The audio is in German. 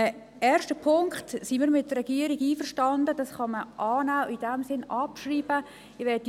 Was den ersten Punkt betrifft, sind wir mit der Regierung einverstanden, dass man diesen annehmen und abschreiben kann.